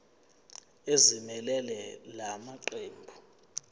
ezimelele la maqembu